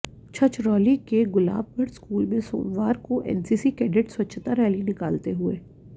छछरौली के गुलाबगढ़ स्कूल में सोमवार को एनसीसी कैडेट्स स्वच्छता रैली निकालते हुए